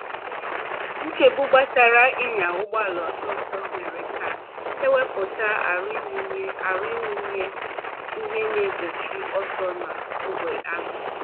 Nchegbu gbasara ị nya ụgbọala ọsọ ọsọ mere ka e wepụta aro ịwụnye aro ịwụnye ihe na egbochi ọsọ n’ógbè ahụ.